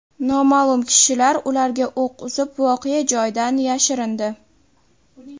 Noma’lum kishilar ularga o‘q uzib, voqea joyidan yashirindi.